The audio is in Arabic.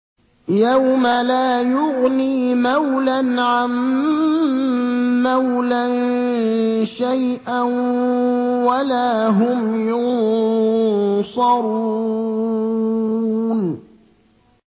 يَوْمَ لَا يُغْنِي مَوْلًى عَن مَّوْلًى شَيْئًا وَلَا هُمْ يُنصَرُونَ